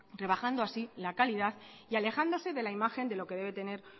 rebajando así la calidad y alejándose de la imagen de lo que debe tener